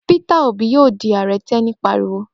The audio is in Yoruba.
Peter Obi yóò di Ààrẹ! Teni pariwo.